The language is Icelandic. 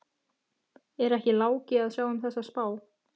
Er ekki Láki að sjá um þessa spá?